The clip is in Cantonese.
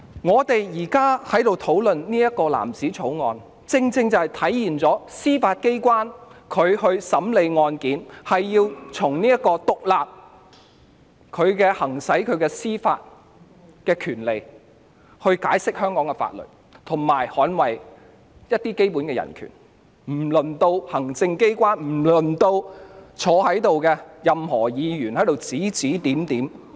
我們現在討論的《條例草案》，正正體現了司法機關審理案件時須獨立行使司法權利來解釋香港的法律，以及捍衞一些基本的人權，輪不到行政機關或任何一位在席立法會議員指指點點。